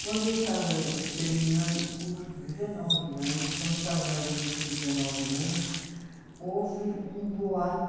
Quando eu estava terminando o curso, dezenove anos, quando estava mais ou menos com dezenove anos, houve um boato.